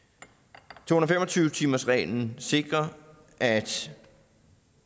to hundrede og fem og tyve timersreglen sikrer at